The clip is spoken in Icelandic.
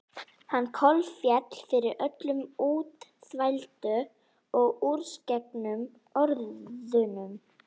Hann kolféll fyrir öllum útþvældu og úrsérgengnu orðunum.